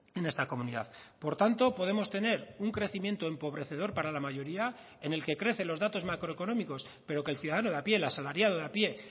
en esta comunidad por tanto podemos tener un crecimiento empobrecedor para la mayoría en el que crecen los datos macroeconómicos pero que el ciudadano de a pie el asalariado de a pie